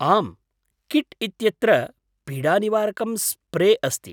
आम्, किट् इत्यत्र पीडानिवारकं स्प्रे अस्ति।